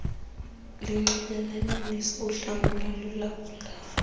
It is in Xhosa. linxibelelanisa uhlangulo lulawula